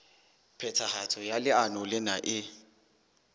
phethahatso ya leano lena e